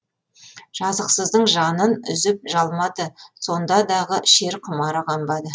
жазықсыздың жанын үзіп жалмады сонда дағы шер құмары қанбады